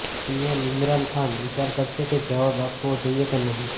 PM Imran Khan વિચાર કરશે કે જવાબ આપવો જોઈએ કે નહિં